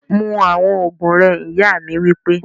Mu awọn oogun rẹ! iya mi wipe